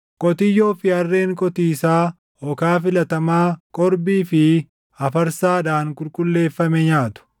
Qotiyyoo fi harreen qotiisaa okaa filatamaa qorbii fi afarsaadhaan qulqulleeffame nyaatu.